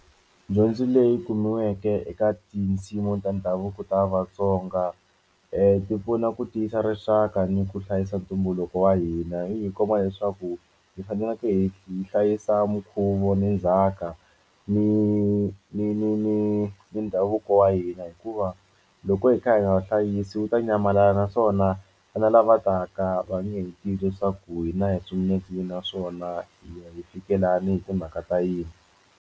Dyondzo leyi kumiweke eka tinsimu ta ndhavuko ta Vatsonga ti pfuna ku tiyisa rixaka ni ku hlayisa ntumbuluko wa hina yi hi leswaku hi faneleke hi hi hlayisa minkhuvo ni ndzhaka ni ni ni ni ni ndhavuko wa hina hikuva loko hi kha hi nga vuhlayisi wu ta nyamalala naswona vana lavataka va nge tivi leswaku hina hi singule kwihi naswona hi fike lana hi timhaka ta yini.